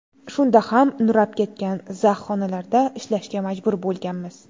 Shunda ham nurab ketgan, zax xonalarda ishlashga majbur bo‘lganmiz.